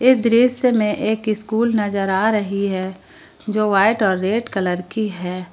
इस दृश्य में एक स्कूल नजर आ रही है जो वाइट और रेड कलर की है।